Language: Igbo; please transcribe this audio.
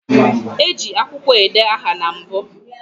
E ji akwukwo ede aha na mbu